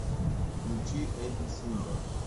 включи эбби сингер